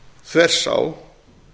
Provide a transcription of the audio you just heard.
þvers á